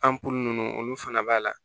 An po ninnu olu fana b'a la